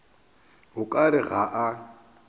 o ka re ga a